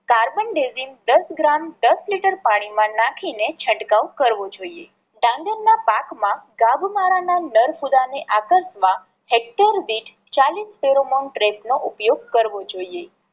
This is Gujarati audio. carbendazim દસ ગ્રામ દસ લિટર પાણી માં નાખી ને છંટકાવ કરવો જોઈએ. ડાંગર ના પાક માં નર ફૂદા ને આકર્ષવા હેક્ટર દીઠ ચાલીસ નો ઉપયોગ કરવો જોઈએ.